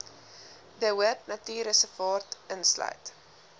de hoopnatuurreservaat insluit